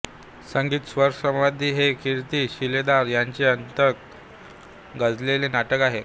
संगीत स्वरसम्राज्ञी हे कीर्ती शिलेदार यांचे अत्यंत गाजलेले नाटक आहे